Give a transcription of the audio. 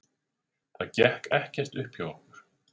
Það gekk ekkert upp hjá okkur.